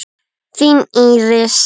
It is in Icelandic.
Þín Íris.